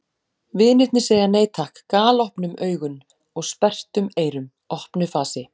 Vinirnir segja nei takk galopnum augun og sperrtum eyrum- opnu fasi.